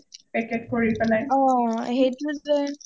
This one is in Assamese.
Packet কৰি পেলাই